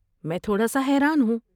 میں تھوڑا سا حیران ہوں۔